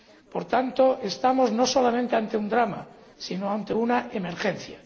Por tanto, estamos no solamente ante un drama, sino ante una emergencia.